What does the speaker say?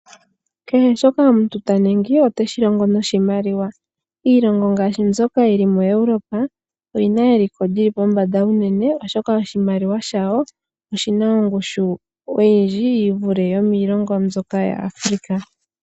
Kehe shoka omuntu ta ningi oteshi longo noshimaliwa. Iilongo ngaashi mbyoka yili muEurope oyina eliko lyili pombanda unene, oshoka oshimaliwa dhawo oshina ongushu oyindji yivule yimwe yomiilongo yAfrika.